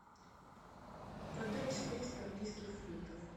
продать четыреста английских фунтов